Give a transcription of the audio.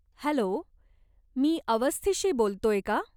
Hello, मी अवस्थीशी बोलतोय का?